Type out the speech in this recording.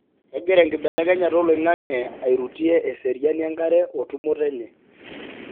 kengira enkibelekenyata oloingange airutie eseriani enkare otumoto enye.